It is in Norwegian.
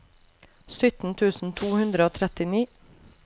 sytten tusen to hundre og trettini